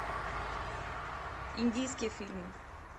индийские фильмы